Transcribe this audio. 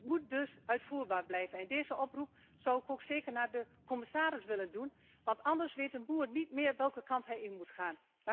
Het moet dus uitvoerbaar blijven en deze oproep zou ik ook zeker aan de commissaris willen richten want anders weet een boer niet meer welke kant hij op moet gaan.